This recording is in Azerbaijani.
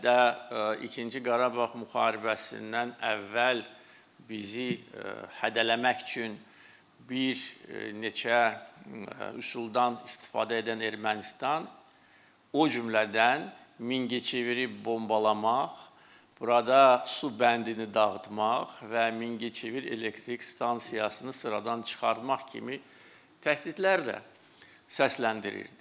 Hətta ikinci Qarabağ müharibəsindən əvvəl bizi hədələmək üçün bir neçə üsuldan istifadə edən Ermənistan, o cümlədən Mingəçeviri bombalamaq, burada su bəndini dağıtmaq və Mingəçevir elektrik stansiyasını sıradan çıxartmaq kimi təhdidlərlə səsləndirirdi.